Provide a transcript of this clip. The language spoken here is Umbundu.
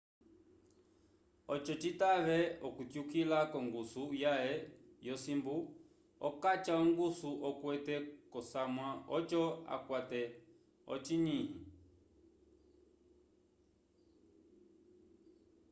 oco citave okutyukila k'ongusu yãhe yosimbu okaca ongusu okwete k'osamwa oco akwate ocinyi